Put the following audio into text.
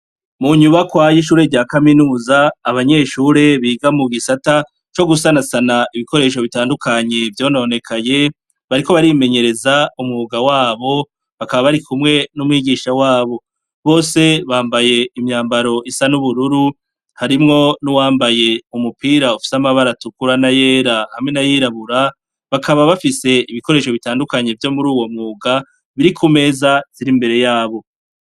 Mu nyubakwayo ishure rya kaminuza abanyeshure biga mu gisata co gusanasana ibikoresho bitandukanyi vyononekaye bariko barimenyereza umwuga wabo bakaba bari kumwe n'umwigisha wabo bose bambaye imyambaro isa n'ubururu harimwo n'uwambaye umupira ufise amabara dukura na yera hamwe na yirabura bakaba bafise ibikoresho bitandukanyi vyo muri uwo mwuga biri ku meza ziri imbere yabo.